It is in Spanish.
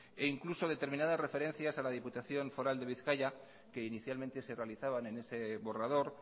e incluso determinada referencias a la diputación foral de bizkaia que inicialmente se realizaban en ese borrador